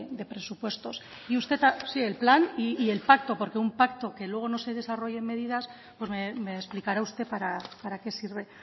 de presupuestos y usted sí el plan y el pacto porque un pacto que luego no se desarrollen medidas pues me explicará usted para qué sirve